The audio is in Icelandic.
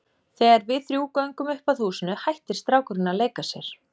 Þegar við þrjú göngum upp að húsinu hættir strákurinn að leika sér.